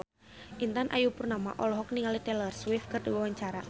Intan Ayu Purnama olohok ningali Taylor Swift keur diwawancara